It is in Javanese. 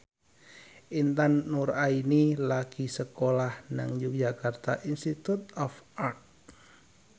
Intan Nuraini lagi sekolah nang Yogyakarta Institute of Art